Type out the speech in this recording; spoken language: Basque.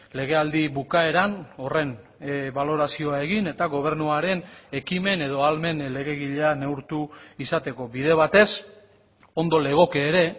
legealdi bukaeran horren balorazioa egin eta gobernuaren ekimen edo ahalmen legegilea neurtu izateko bide batez ondo legoke ere